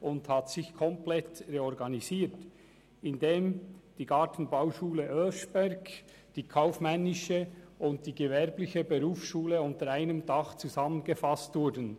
Es hat sich komplett reorganisiert, indem die Gartenbauschule Oeschberg, die kaufmännische und die gewerbliche Berufsschule unter einem Dach zusammengefasst wurden.